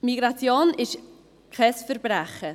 Migration ist kein Verbrechen.